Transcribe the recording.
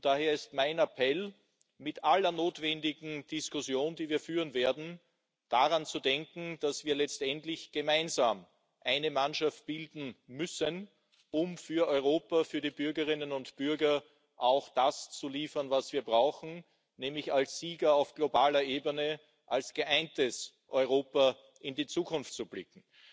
Daher ist mein Appell bei aller notwendigen Diskussion, die wir führen werden, daran zu denken, dass wir letztendlich gemeinsam eine Mannschaft bilden müssen, um für Europa, für die Bürgerinnen und Bürger das zu liefern, was wir brauchen, nämlich als Sieger auf globaler Ebene, als geeintes Europa in die Zukunft zu blicken.